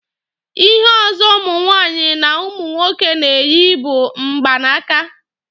Ihe ọzọ ụmụ nwaanyị na umu nwoke na-eyi bụ mgba n'aka.